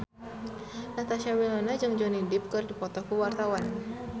Natasha Wilona jeung Johnny Depp keur dipoto ku wartawan